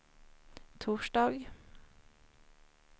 torsdag